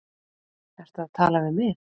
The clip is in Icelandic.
Ertu að tala við mig?